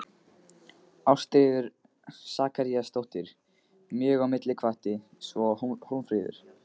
Ástríður Sakaríasdóttir mjög á milli og hvatti, svo og Hólmfríður